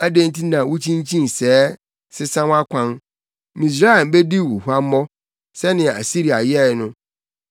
Adɛn nti na wukyinkyin sɛɛ, sesa wʼakwan? Misraim bedi wo huammɔ sɛnea Asiria yɛe no.